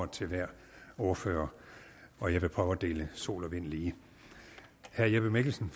til hver ordfører og jeg vil prøve at dele sol og vind lige herre jeppe mikkelsen